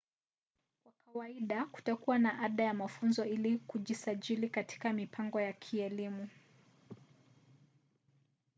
kwa kawaida kutakuwa na ada ya mafunzo ili kujisajili katika mipango hii ya kielimu